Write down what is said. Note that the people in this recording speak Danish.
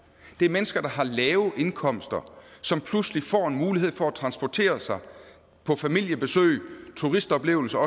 det er mennesker der har lave indkomster som pludselig får en mulighed for at transportere sig på familiebesøg turistoplevelser